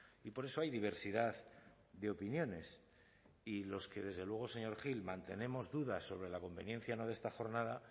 y por eso hay diversidad de opiniones y los que desde luego señor gil mantenemos dudas sobre la conveniencia o no de esta jornada